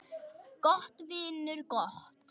Gott, vinur, gott.